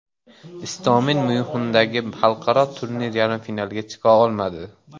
Istomin Myunxendagi xalqaro turnir yarim finaliga chiqa olmadi.